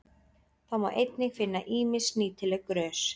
Þá má einnig finna ýmis nýtileg grös.